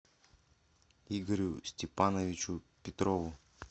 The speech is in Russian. игорю степановичу петрову